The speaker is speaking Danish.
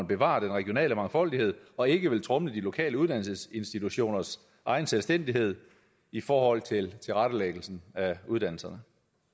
bevare den regionale mangfoldighed og ikke vil tromle de lokale uddannelsesinstitutioners egen selvstændighed i forhold til tilrettelæggelsen af uddannelserne